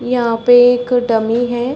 यहाँ पे एक डमी है।